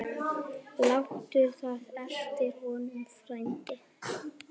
Láttu það eftir honum, frændi.